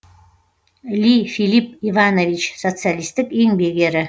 ли филипп иванович социалистік еңбек ері